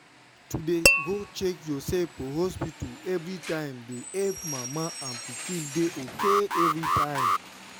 to dey go check yoursef for hospta everi time dey epp mama and pikin dey ok everytime.